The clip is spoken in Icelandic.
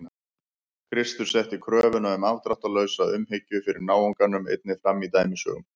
Kristur setti kröfuna um afdráttarlausa umhyggju fyrir náunganum einnig fram í dæmisögum.